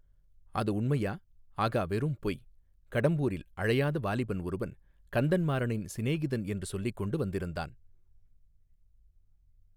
அது உண்மையா ஆகா வெறும் பொய் கடம்பூரில் அழையாத வாலிபன் ஒருவன் கந்தன்மாறனின் சிநேகிதன் என்று சொல்லிக்கொண்டு வந்திருந்தான்.